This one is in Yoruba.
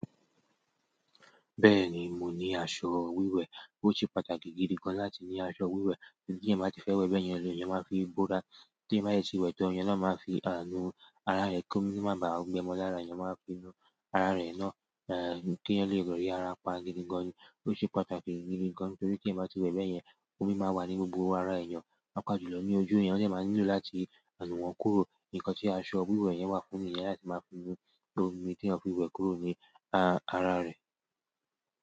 Bẹ́ẹ̀ni mo ní aṣọ wíwẹ̀, ó ṣe pàtàkì gidi gan láti ní aṣọ wíwẹ̀. Tí èèyàn bá ti fẹ́ wẹ́bẹ́ yẹn, èèyàn máa fi bora. Tí èèyàn bá sì ti wẹ̀ tán, èèyàn náà fi aà nu ara rẹ̀ kó mi má bá a gbẹ́ mọ́ lára. Ẹ̀yàn máa fi nu ara rẹ̀ náà, eh, kí èèyàn yóò lè rí ara pa gidi gan ni. Ó ṣe pàtàkì gidi gan, nítorí tí ẹ́ bá ti wẹ́ẹ̀ bẹ́yẹn, omi máa wà ní gbogbo ara èèyàn, á pàápàá jùlọ ní ojú. Èèyàn dẹ̀ ma nílò láti nù wọ́n kúrò. Nǹkan tí aṣọ wíwẹ̀ yẹn wà fún nìyẹn láti máa fi nu omi tí èèyàn fi wẹ́ẹ̀ kúrò ní a-ara rẹ̀.